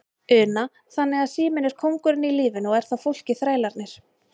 Una: Þannig að síminn er kóngurinn í lífinu og er þá fólkið þrælarnir?